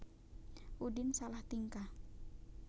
Udin salah tingkah